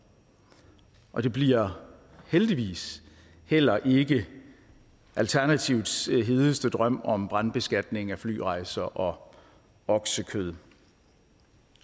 og det bliver heldigvis heller ikke alternativets hedeste drøm om brandbeskatning af flyrejser og oksekød